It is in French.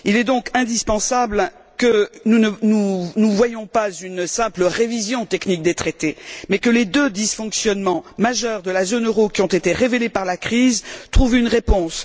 Il est donc indispensable que nous n'envisagions pas une simple révision technique des traités mais que les deux dysfonctionnements majeurs de la zone euro qui ont été révélés par la crise trouvent une réponse.